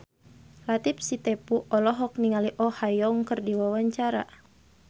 Latief Sitepu olohok ningali Oh Ha Young keur diwawancara